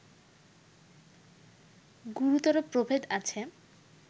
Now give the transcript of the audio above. গুরুতর প্রভেদ আছে